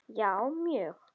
Já, mjög